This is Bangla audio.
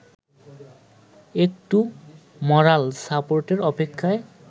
একটু মরাল সাপোর্টের অপেক্ষায়